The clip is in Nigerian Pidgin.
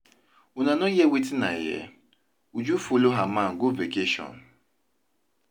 Una no hear wetin I hear, Uju follow her man go vacation